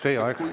Teie aeg!